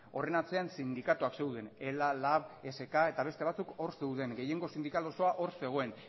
horren atzean sindikatuak zeuden ela lab esk eta beste batzuk hor zeuden gehiengo sindikal osoa hor zegoen